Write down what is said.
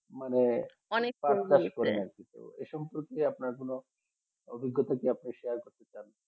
মানে রেশম পক্রিয়া আপনার গুলো অভিজ্ঞতা যে আপনার share করতাম